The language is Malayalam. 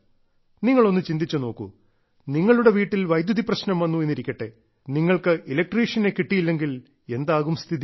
നിങ്ങൾ ഒന്ന് ചിന്തിച്ചു നോക്കൂ നിങ്ങളുടെ വീട്ടിൽ വൈദ്യുതി പ്രശ്നം വന്നു എന്നിരിക്കട്ടെ നിങ്ങൾക്ക് ഇലക്ട്രീഷ്യനെ കിട്ടിയില്ലെങ്കിൽ എന്താകും സ്ഥിതി